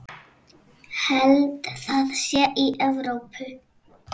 Held það sé í Evrópu.